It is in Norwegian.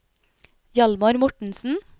Hjalmar Mortensen